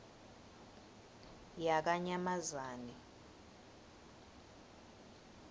yakanyamazane